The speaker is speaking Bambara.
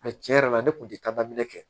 A tiɲɛ yɛrɛ la ne kun tɛ taa daminɛ kɛ